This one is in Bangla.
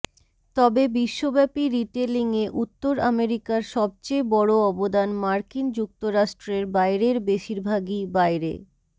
তবে বিশ্বব্যাপী রিটেইলিংয়ে উত্তর আমেরিকার সবচেয়ে বড় অবদান মার্কিন যুক্তরাষ্ট্রের বাইরের বেশিরভাগই বাইরে